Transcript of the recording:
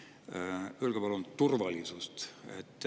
palun turvalisusest.